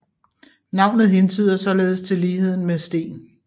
Navnet hentyder således til ligheden med sten